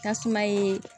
Tasuma ye